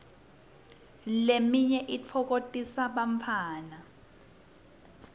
leminye itfokotisa bantfwana